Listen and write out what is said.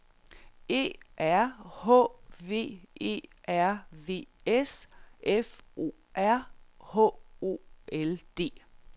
E R H V E R V S F O R H O L D